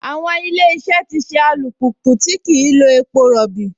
Àwọn Ilé-iṣẹ́ ti ṣe alùpùpù tí kìí lo epo rọbì